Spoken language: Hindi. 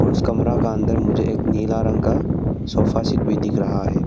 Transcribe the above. और उस कमरा का अंदर मुझे एक नीला रंग का सोफा सेट भी दिख रहा है।